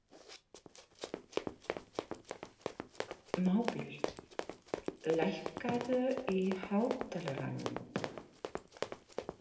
Mábil, lækkaðu í hátalaranum.